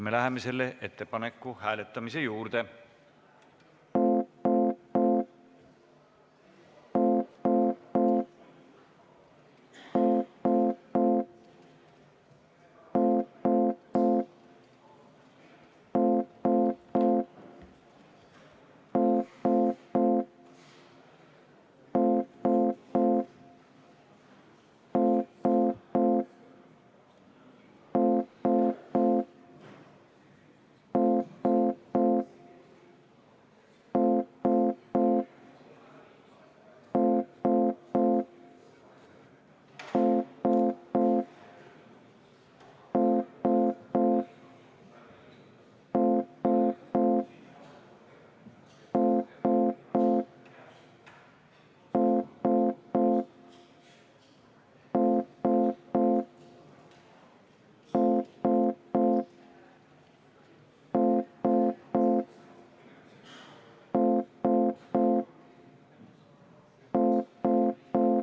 Me läheme selle ettepaneku hääletamise juurde.